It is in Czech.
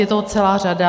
Je toho celá řada.